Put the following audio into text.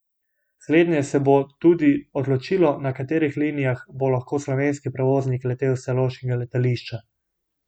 Slednje se bo tudi odločilo, na katerih linijah bo lahko slovenski prevoznik letel s celovškega letališča.